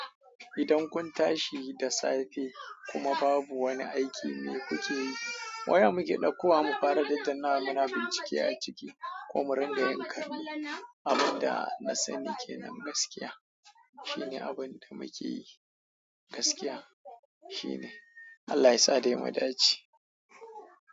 Idan kun tashi da safe kuma babu wani aiki mai kuke yi, waya muke ɗaukowa mu fara daddana mu na bincike a ciki ko mu ringa yin kallo. Abun da na sani ke nan gaskiya shine abun da muke yi, gaskiya shine. Allah yasa dai mu dace.